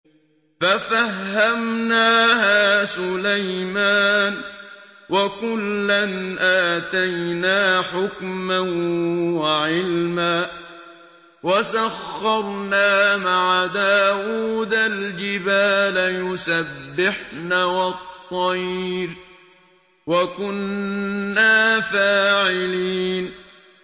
فَفَهَّمْنَاهَا سُلَيْمَانَ ۚ وَكُلًّا آتَيْنَا حُكْمًا وَعِلْمًا ۚ وَسَخَّرْنَا مَعَ دَاوُودَ الْجِبَالَ يُسَبِّحْنَ وَالطَّيْرَ ۚ وَكُنَّا فَاعِلِينَ